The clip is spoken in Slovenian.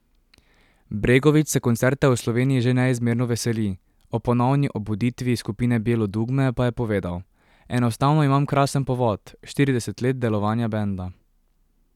Bregović se koncerta v Sloveniji že neizmerno veseli, o ponovni obuditvi skupine Bijelo Dugme pa je povedal: 'Enostavno imam krasen povod, štirideset let delovanja benda.